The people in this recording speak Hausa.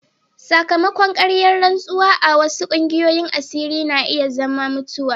Sakamakon karya rantsuwa a wasu kungiyoyin asiri na iya zama mutuwa.